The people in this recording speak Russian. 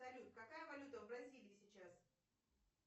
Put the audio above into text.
салют какая валюта в бразилии сейчас